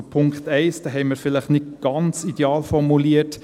Zu Punkt 1: Diesen haben wir vielleicht nicht ganz ideal formuliert.